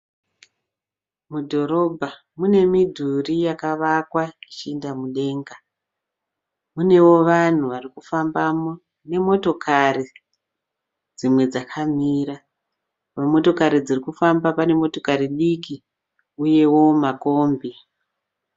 Mudhorobha une midhuri yakawakwa ichienda mudenga mune vanhu varikufamba ne motokari dzimwe dzakamira pamotokari dzirikufambamo pane motokari diki uyewo makombi